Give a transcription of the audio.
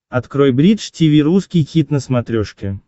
открой бридж тиви русский хит на смотрешке